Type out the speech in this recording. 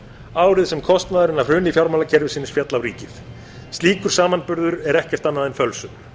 árið sem kostnaðurinn af hruni fjármálakerfisins féll á ríkið slíkur samanburður er ekkert annað en fölsun